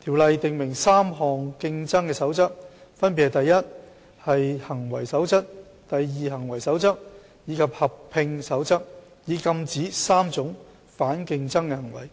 條例訂明3項"競爭守則"，分別是"第一行為守則"、"第二行為守則"及"合併守則"，以禁止3種反競爭行為。